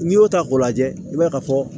N'i y'o ta k'o lajɛ i b'a ye ka fɔ